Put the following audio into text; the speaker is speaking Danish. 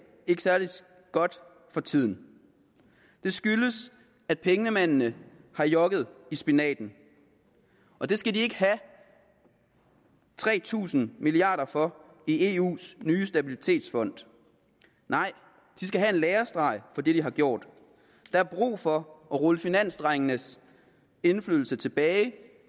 ikke særlig godt for tiden det skyldes at pengemændene har jokket i spinaten og det skal de ikke have tre tusind milliarder for i eus nye stabilitetsfond nej de skal have en lærestreg for det de har gjort der er brug for at rulle finansdrengenes indflydelse tilbage